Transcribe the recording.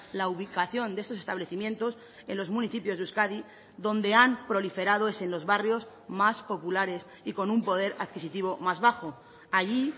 la ubicación de estos establecimientos en los municipios de euskadi donde han proliferado es en los barrios más populares y con un poder adquisitivo más bajo allí